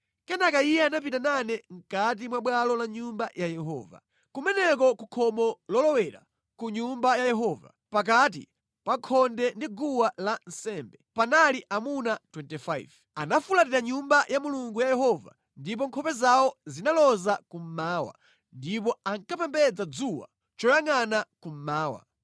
Kenaka Iye anapita nane mʼkati mwa bwalo la Nyumba ya Yehova. Kumeneko ku khomo lolowera ku Nyumba ya Yehova pakati pa khonde ndi guwa lansembe, panali amuna 25. Anafulatira Nyumba ya Mulungu wa Yehova ndipo nkhope zawo zinaloza kummawa, ndipo ankapembedza dzuwa choyangʼana kummawa.